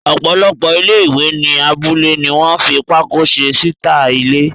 Ọ̀pọ̀lọpọ̀ ilé-ìwẹ̀ ní abúlé ní wọ́n fi pákó se síta ilé.